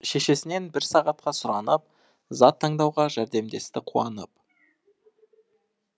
шешесінен бір сағатқа сұранып зат таңдауға жәрдемдесті қуанып